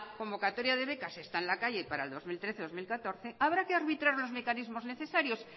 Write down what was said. convocatoria de becas está en la calle para el dos mil trece dos mil catorce habrá que arbitrar los mecanismos necesarios